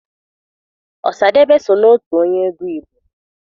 Ọsadebe so n'otu onye egwu Igbo.